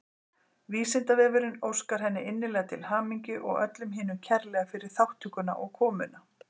Vísindavefurinn óskar henni innilega til hamingju og öllum hinum kærlega fyrir þátttökuna og komuna.